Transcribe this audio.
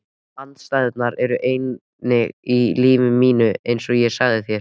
Andstæðurnar eru eining í lífi mínu einsog ég sagði þér.